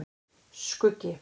Skuggi